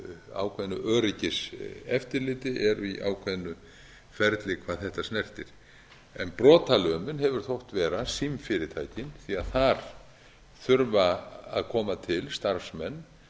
ákveðnu öryggiseftirliti eru í ákveðnu ferli hvað þetta snertir brotalömin hefur þótt vera símfyrirtækin því þar þurfa að koma til starfsmenn